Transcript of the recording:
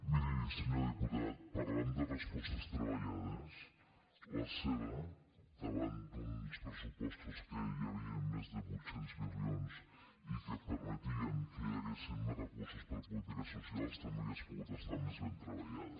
miri senyor diputat parlant de respostes treballades la seva davant d’uns pressupostos que hi havien més de vuit cents milions i que permetien que hi haguessin més recursos per a polítiques socials també hauria pogut estar més ben treballada